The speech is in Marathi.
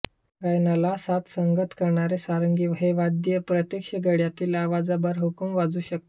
गायनाला साथसंगत करणारे सारंगी हे वाद्य प्रत्यक्ष गळ्यातील आवाजाबरहुकूम वाजू शकते